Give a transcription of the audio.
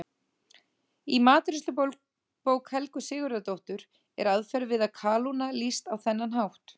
Í matreiðslubók Helgu Sigurðardóttur er aðferð við að kalóna lýst á þennan hátt: